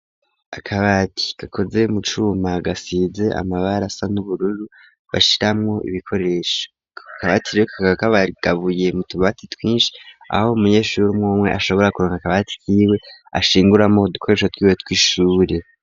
Akabati gakoze mucuma gasize amabara asa n'ubururu bashiramwo ibikoresho, ako kabati rero kakaba kagabuye mutubati twinshi aho umunyeshuri umwe umwe ashobora kuronka akabati kiwe ashinguramo udukoresho twiwe tw'ishure.